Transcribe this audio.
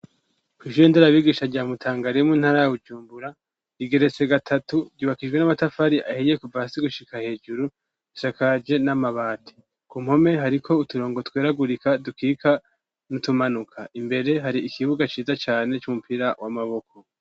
Koijendera abigisha rya mutangaremu ntarawujumbura igeretse gatatu ryubakijwe n'amatafari ahiye ku vasi gushika hejuru shakaje n'amabati ku mpome hariko uturongo tweragurika dukika n'utumanuka imbere hari ikibuga ciza cane c'umupira w'amaboko.